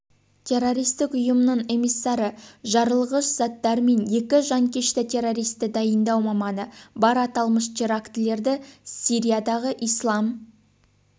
террористік ұйымының эмиссары жарылғыш заттар мен екі жанкешті-террористті дайындау маманы бар аталмыш терактілерді сириядағы ислам